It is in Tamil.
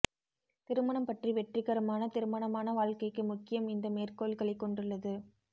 திருமணம் பற்றி வெற்றிகரமான திருமணமான வாழ்க்கைக்கு முக்கியம் இந்த மேற்கோள்களைக் கொண்டுள்ளது